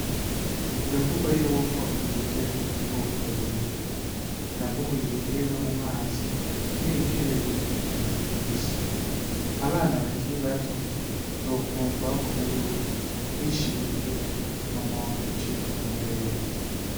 Biravugwa yuko ibikere biri mu bwoko bubiri, haravugwa ibikere biba mumazi, nibikere bigenda genda kwisi. Abana bakiri bato uzokwunva bavuga yuko, bishe igikere, mama wawe aca acika amabere.